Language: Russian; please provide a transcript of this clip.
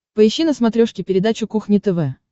поищи на смотрешке передачу кухня тв